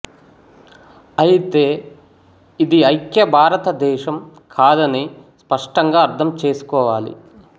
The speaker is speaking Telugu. అయితే ఇది ఐక్య భారతదేశం కాదని స్పష్టంగా అర్థం చేసుకోవాలి